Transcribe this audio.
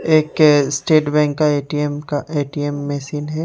एक है state bank का ए_टी_एम का ए_टी_एम मशीन है।